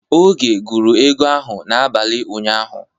Oge gụrụ ego ahụ n'abalị ụnyaahụ.